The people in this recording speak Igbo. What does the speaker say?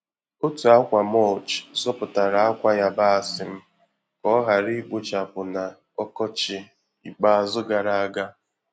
Otu akwa mulch zọpụtara akwa yabasị m ka ọ ghara ikpochapụ na Okochi ikpeazụgara aga.